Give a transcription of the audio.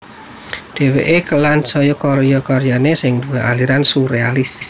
Dheweke dikelan saka karya karyane yang duwé aliran surealis